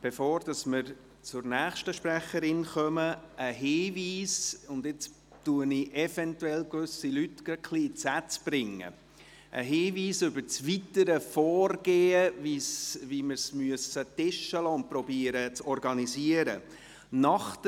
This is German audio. Bevor wir zur nächsten Sprecherin kommen, ein Hinweis – und jetzt bringe ich eventuell gewisse Leute gerade etwas in die Sätze – über das weitere Vorgehen, wie wir es ordnen müssen und zu organisieren versuchen.